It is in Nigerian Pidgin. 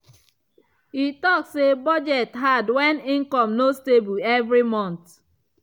e talk say budget hard when income no stable every month.